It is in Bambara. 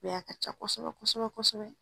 bɛ ye a ka ca kosɛbɛ kosɛbɛ kosɛbɛ.